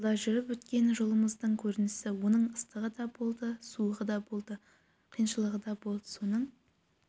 жылда жүріп өткен жолымыздың көрінісі оның ыстығы да болды суығы да болды қиыншылығы да болды соның